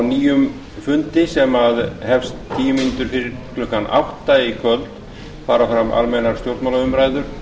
á nýjum fundi sem hefst tíu mínútum fyrir klukkan átta í kvöld fari fram almennar stjórnmálaumræður